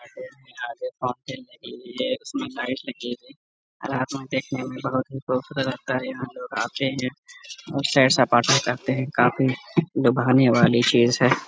Light लगी है और रात में देखने में बहुत ही खूबसूरत लगता है और यहाँ लोग आते हैं और सैर सपाटा करते हैं काफी लुभाने वाली चीज़ है।